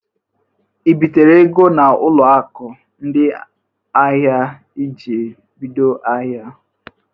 I bitere ego n'ụlọ akụ ndị ahịa iji bido ahịa?